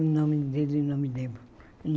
O nome dele eu não me lembro.